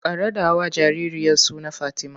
Ka raɗawa jaririyar suna Fatima!